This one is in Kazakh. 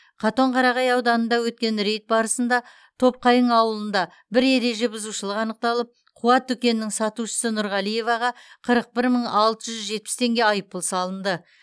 катонқарағай ауданында өткен рейд барысында топқайың ауылында бір ереже бұзушылық анықталып қуат дүкенінің сатушысы нұрғалиеваға қырық бір мың алты жүз жетпіс теңге айыппұл салынды